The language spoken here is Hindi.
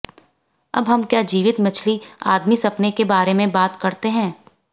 अब हम क्या जीवित मछली आदमी सपने के बारे में बात करते हैं